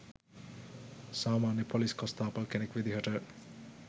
සාමාන්‍ය ‍පොලිස් කොස්තාපල් කෙනෙක් විදිහට